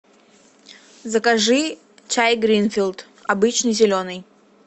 закажи чай гринфилд обычный зеленый